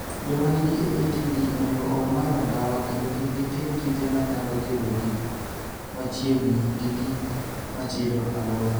Joma nigi AATD onego owe madho ndawa kendo kik gitim tije manyalo kelo gi machiegni gi gik machido aluora.